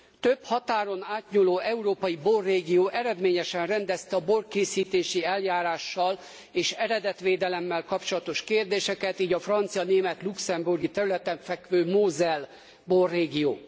Több határon átnyúló európai borrégió eredményesen rendezte a borkészítési eljárással és eredetvédelemmel kapcsolatos kérdéseket, így a francia német luxemburgi területen fekvő Moselle borrégió.